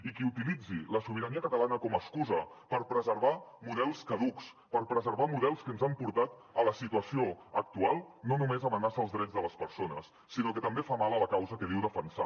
i qui utilitzi la sobirania catalana com a excusa per preservar models caducs per preservar models que ens han portat a la situació actual no només amenaça els drets de les persones sinó que també fa mal a la causa que diu defensar